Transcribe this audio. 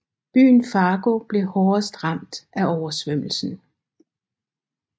Byen Fargo blev hårdest ramt af oversvømmelsen